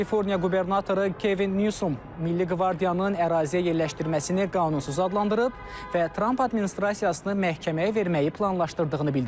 Kaliforniya qubernatoru Kevin Nyusum milli qvardiyanın əraziyə yerləşdirməsini qanunsuz adlandırıb və Tramp administrasiyasını məhkəməyə verməyi planlaşdırdığını bildirib.